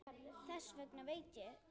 Þess vegna veit ég þetta.